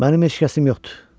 Mənim ehtiyacım yoxdur.